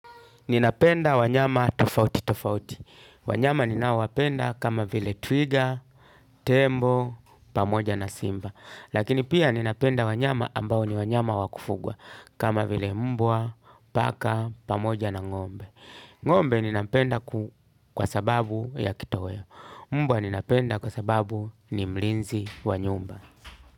Ninapenda wanyama tofauti tofauti. Wanyama ninaowapenda kama vile twiga, tembo, pamoja na simba. Lakini pia ninapenda wanyama ambao ni wanyama wa kufugwa. Kama vile mbwa, paka, pamoja na ngombe. Ngombe ninampenda kwa sababu ya kitoweo. Mbwa ninapenda kwa sababu ni mlinzi wa nyumba.